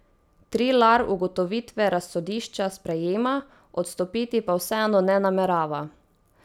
Trilar ugotovitve razsodišča sprejema, odstopiti pa vseeno ne namerava.